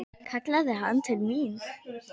kallaði hann til mín.